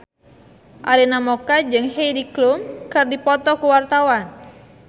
Arina Mocca jeung Heidi Klum keur dipoto ku wartawan